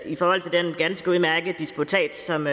i forhold til den ganske udmærkede disputats som